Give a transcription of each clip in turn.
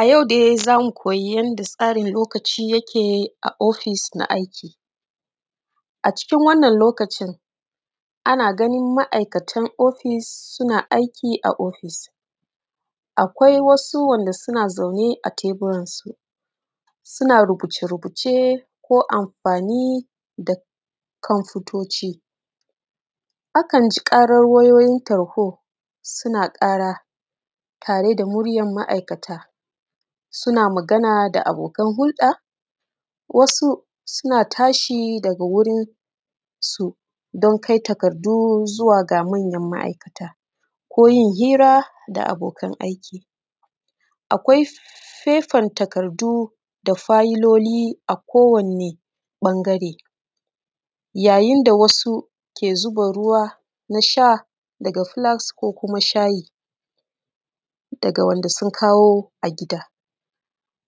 A yau dai zamu koyi yanda tsarin lokaci yake a office na aiki. A cikin wannan lokacin, ana ganin ma’aikatan office suna aiki a office, akwai wasu wanda suna zaune a teburan su, suna rubuce-rubuce ko amfani da kwamfutoci. Akan ji ƙaran wayoyin tarho suna ƙara tare da muryan ma’aikata, suna magana da abokan hulɗa, wasu suna tashi daga wurin su don kai takardu zuwa ga manyan ma’aikata ko yin hira da abokan aiki, akwai faifan takardu da failoli a kowanne ɓangare, yayin da wasu ke zuba ruwa na sha daga flask ko kuma shayi, daga wanda sun kawo a gida.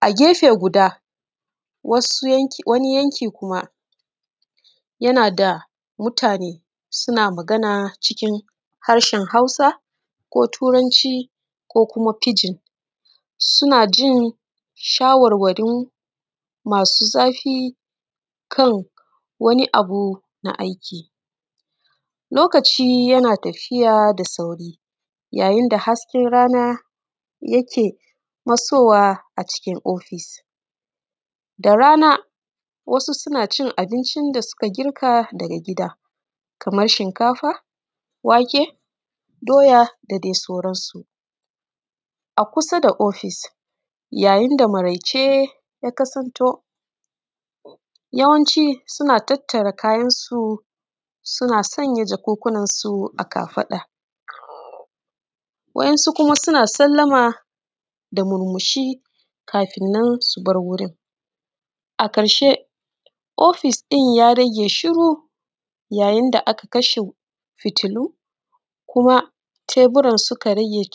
A gefe guda, wasu yanki wani yanki kuma yana da mutane suna magana kuma cikin harshen hausa ko turanci ko kuma pidgin, suna jin shawarwarin masu zafi kan wani abu na aiki. Lokaci yana tafiya da sauri, yayinda hasken rana yake fasowa acikin office da rana wasu suna cin abincin da suka girka daga gida, kamar shinkafa, wake, doya da dai sauran su. A kusa da office, yayin da maraice ya kusanto, yawanci suna tattara kayan su suna sanya jakunkunan su a kafaɗa, waɗansu kuma suna sallama da murmushi kafin nan su bar wurin, a ƙarshe, office ɗin ya rage shiru, yayin da aka kasha fitilu, kuma teburan suka rage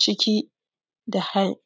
ciki da hain.